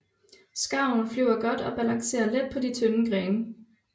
Skarven flyver godt og balancerer let på de tynde grene